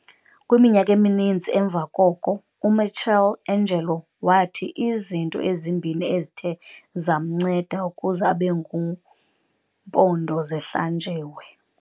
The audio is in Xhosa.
Kwiminyaka emininzi emva koko uMichelangelo wathi izinto ezimbini ezithe zamnceda ukuze abe ngumpondozihlanjiwe.